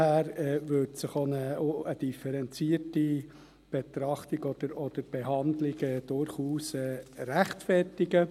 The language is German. Daher würde sich auch eine differenzierte Betrachtung oder Behandlung durchaus rechtfertigen.